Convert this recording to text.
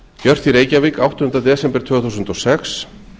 gjört í reykjavík áttundi desember tvö þúsund og sex